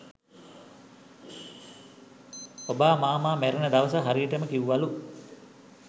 ඔබා මාමා මැරෙන දවස හරියටම කිව්වලු.